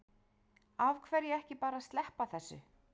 Af hverju ekki bara að sleppa þessu?